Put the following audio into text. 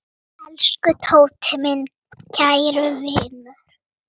Elsku Tóti, minn kæri vinur.